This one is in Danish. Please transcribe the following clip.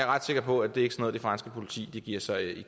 ret sikker på at det ikke noget det franske politi giver sig i